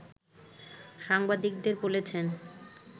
সাংবাদিকদের বলেছেন